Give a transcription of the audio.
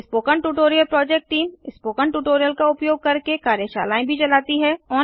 spoken tutorial project team spoken tutorial का उपयोग करके कार्यशालाएँ भी चलाती है